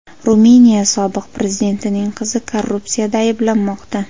Ruminiya sobiq prezidentining qizi korrupsiyada ayblanmoqda.